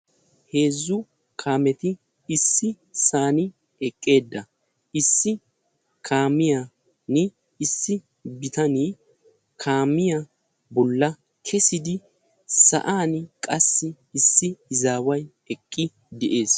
Heezzu kaameti issisan eqqida issi kaamiyan issi bitanee kaamiya bolla kessidi sa'an qassi issi izaawayi eqqi de'es.